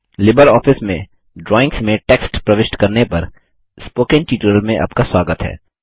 LibreOffice में drawings में text प्रविष्ट करने पर स्पोकन ट्यूटोरियल में आपका स्वागत है